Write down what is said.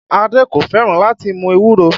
Adé kò fẹ́ràn láti mú ewúro